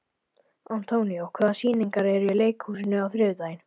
Antonio, hvaða sýningar eru í leikhúsinu á þriðjudaginn?